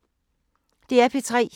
DR P3